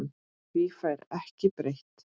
Því fær ekkert breytt.